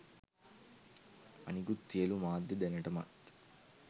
අනිකුත් සියලු මාධ්‍ය දැනටමත්